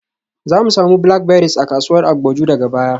Zamu samu blackberries a kasuwar Agboju daga baya.